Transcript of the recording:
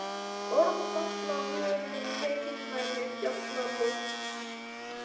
Orð falla af vörum um heilnæmi fjallalofts.